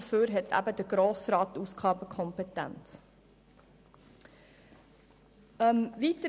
Dafür liegt die Ausgabenkompetenz beim Grossen Rat.